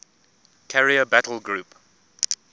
carrier battle group